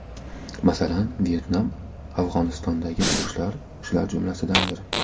Masalan, Vyetnam, Afg‘onistondagi urushlar shular jumlasidandir.